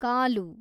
ಕಾಲು